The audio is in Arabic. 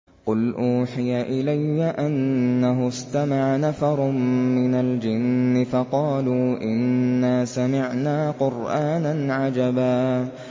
قُلْ أُوحِيَ إِلَيَّ أَنَّهُ اسْتَمَعَ نَفَرٌ مِّنَ الْجِنِّ فَقَالُوا إِنَّا سَمِعْنَا قُرْآنًا عَجَبًا